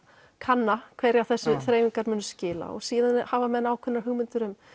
kanna hverju þessar þreifingar muni skila og síðan hafa menn ákveðnar hugmyndir um